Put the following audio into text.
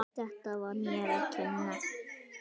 Þetta var mér að kenna.